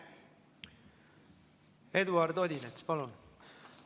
Eduard Odinets, palun!